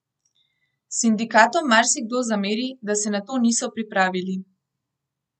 Sindikatom marsikdo zameri, da se na to niso pripravili.